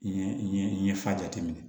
Yen yen fa jate minɛ